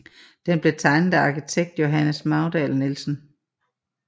Den blev tegnet af arkitekten Johannes Magdahl Nielsen